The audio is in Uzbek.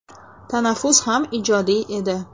– Tanaffus ham ijodiy edi.